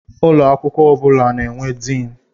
Ụlọ akwụkwọ ọ bụla na-enwe Diini.